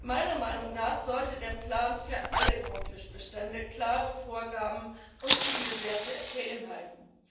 Meiner Meinung nach sollte der Plan für alle Grundfischbestände klare Vorgaben und Zielwerte beinhalten.